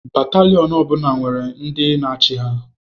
Batalion ọ bụla nwere ndi na-achị ha.